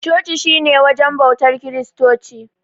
Coci shi ne wajen bautar kiristoci.